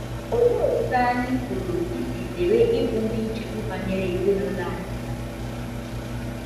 Olee otú anyị pụrụ isi zere ịbụ ndị nchegbu banyere ezinụlọ anyị na - anyịgbu?